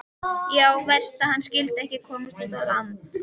Já, verst að hann skyldi ekki komast út á land.